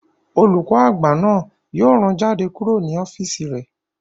Olùkọ́ àgbà náà yóò rán jáde kúrò ní ọ́físì rẹ̀